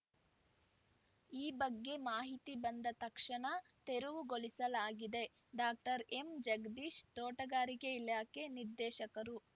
ಈ ಬಗ್ಗೆ ಮಾಹಿತಿ ಬಂದ ತಕ್ಷಣ ತೆರವುಗೊಳಿಸಲಾಗಿದೆ ಡಾಕ್ಟರ್ ಎಂಜಗದೀಶ್‌ ತೋಟಗಾರಿಕೆ ಇಲಾಖೆ ನಿರ್ದೇಶಕರು